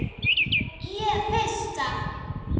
Ég pissa.